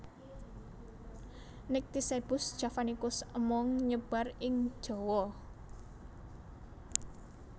Nycticebus javanicus amung nyebar ing Jawa